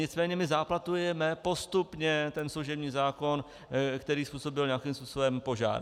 Nicméně my záplatujeme postupně ten služební zákon, který způsobil nějakým způsobem požár.